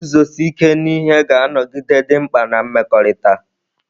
Iguzosi ike n'ihe ga-anọgide dị mkpa na mmekọrịta.